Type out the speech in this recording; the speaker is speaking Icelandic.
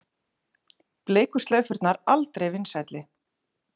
Bleiku slaufurnar aldrei vinsælli